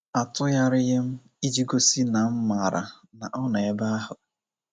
Atụgharịghị m, iji gosi na m mara na ọ nọ ebe ahụ.